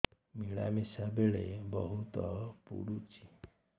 ମିଳାମିଶା ବେଳେ ବହୁତ ପୁଡୁଚି